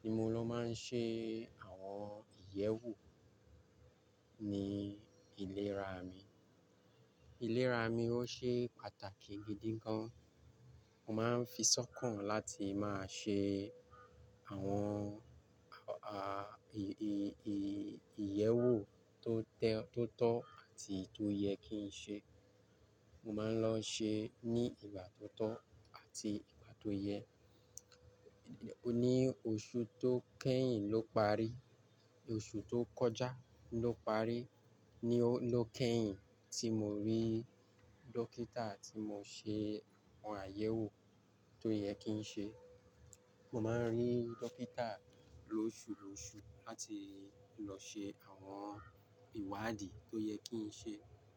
Ni mo ló máa ń ṣe àwọn àyẹ̀wò ní ìlera mi. Ìlera mi ó ṣe pàtàkì gidi gan. Mo máa ń fi sọ́kàn láti máa ṣe àwọn, à, à, ì, ì, ì, ìyẹ̀wò tó tẹ́, tó tọ́ àti tó yẹ kí n ṣe. Mo máa ń lọ ṣe ní ìgbà tó tọ́ àti ìgbà tó yẹ. Ni oṣù tó kẹ́yìn ló parí, oṣù tó kọjá ló parí ni ó, ló kẹ́yìn tí mo rí dókítà tí mo ṣe àwọn àyẹ̀wò tó yẹ kí n ṣe. Mo máa ń rí dókítà lóṣù lóṣù láti lọ ṣe àwọn ìwádìí tó yẹ kí n ṣe.